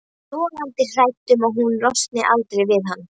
Logandi hrædd um að hún losni aldrei við hann.